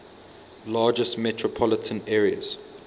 largest metropolitan areas